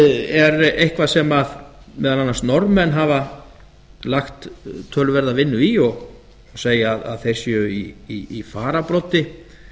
raunfærnimat er eitthvað sem meðal annars norðmenn hafa lagt töluverða vinnu í og má segja að þeir séu í fararbroddi